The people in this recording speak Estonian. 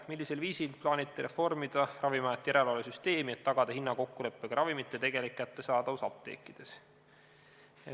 Esimene küsimus: "Millisel viisil plaanite reformida Ravimiameti järelevalvesüsteemi, et tagada hinnakokkuleppega ravimite tegelik kättesaadavus apteekides?